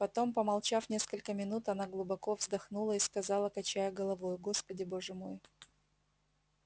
потом помолчав несколько минут она глубоко вздохнула и сказала качая головою господи боже мой